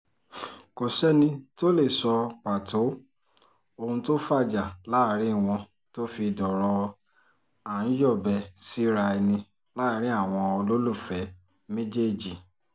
kò sẹ́ni tó lè sọ pàtó ohun tó fàjà láàrin wọn tó fi dọ̀rọ̀ à-ń-yọ̀bẹ-síra ẹni láàrin àwọn olólùfẹ́ méjèèjì